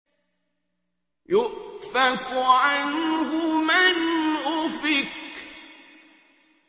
يُؤْفَكُ عَنْهُ مَنْ أُفِكَ